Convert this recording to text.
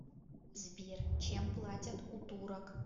сбер чем платят у турок